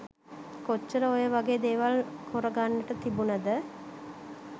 කොච්චර ඔය වගේ දේවල් කොර ගන්ට තිබුනාද.